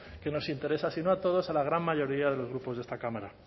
que nos interesa sino a todos a la gran mayoría de los grupos de esta cámara